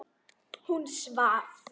Hún svaf.